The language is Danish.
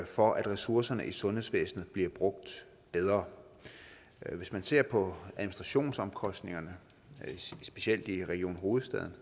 for at ressourcerne i sundhedsvæsenet bliver brugt bedre hvis man ser på administrationsomkostningerne specielt i region hovedstaden